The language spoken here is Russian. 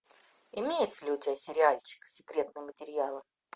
имеется ли у тебя сериальчик секретные материалы